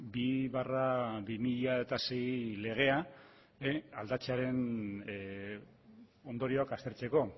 bi barra bi mila sei legea aldatzearen ondorioak aztertzeko